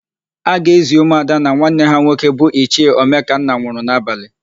A ga-ézì ụmụada na nwanne ha nwoke bụ Ichie Omekanna nwụrụ n'abalị.